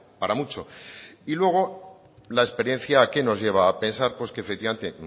para mucho y luego la experiencia qué nos lleva a pensar que efectivamente